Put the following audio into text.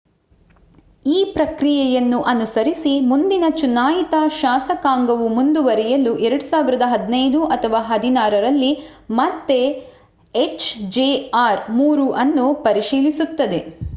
ಈ ಪ್ರಕ್ರಿಯೆಯನ್ನು ಅನುಸರಿಸಿ ಮುಂದಿನ ಚುನಾಯಿತ ಶಾಸಕಾಂಗವು ಮುಂದುವರಿಯಲು 2015 ಅಥವಾ 2016 ರಲ್ಲಿ ಮತ್ತೆ ಎಚ್‌ಜೆಆರ್ -3 ಅನ್ನು ಪರಿಶೀಲಿಸುತ್ತದೆ